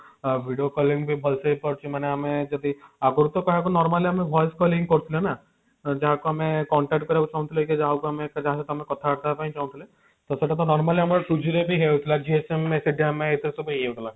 ଅ video calling ବି ବହୁତ ଭଲସେ ହେଇପାରୁଛି ମାନେ ଆମେ ଯଦି ଆଗରୁ କହିବାକୁ ଗଲେ normal ଆମେ voice call ହିଁ କରୁଥିଲେ ନା ଯାହାକୁ ଆମେ contact କରିବାକୁ ଚାହୁଁଥିଲେ କି ଯାହାକୁ ଆମେ ଯାହା ସହିତ ଆମେ କଥା ହେବ ପାଇଁ ଚାହୁଁଥିଲେ ସେଟା ତ normal ଆମେ two G ରେ ବି ହଉଥିଲା Jio sim ସେଠୁ ଆମେ ଏତେ ସବୁ ଇଏ ହେଲା